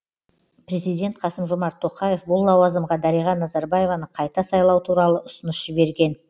президент қасым жомарт тоқаев бұл лауазымға дариға назарбаеваны қайта сайлау туралы ұсыныс жіберген